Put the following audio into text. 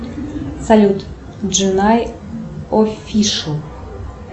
салют дженай офишел